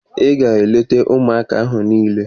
Ị ga-eleta ụmụaka ahụ niile!